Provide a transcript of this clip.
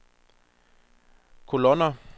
kolonner